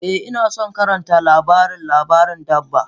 Eh, Ina son karanta labarin labarin dabba.